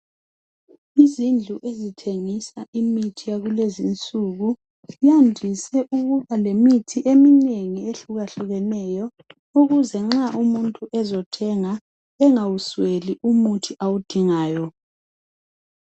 Izindlu ezithengisa imithi yakulezi insuku zandise ukuba lemithi eminengi ehlukahlukeneyo ukuze nxa umuntu ezothenga engawusweli umuthi awudingayo.